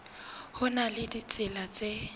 ho na le ditsela tse